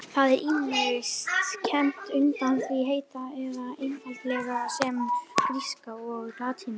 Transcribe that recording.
Það er ýmist kennt undir því heiti eða einfaldlega sem gríska og latína.